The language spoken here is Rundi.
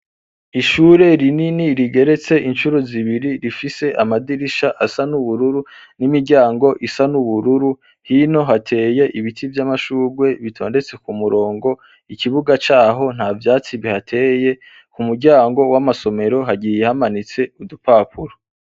ishure rinini rigeretse inshuro zibiri rifise amadirisha asa n'ubururu n'imiryango isa n'ubururu hino hateye ibiti vy'amashurwe bitondetse ku murongo ikibuga caho nta vyatsi bihateye, ku muryango w'amasomero hagiye hamanitse udupapuro.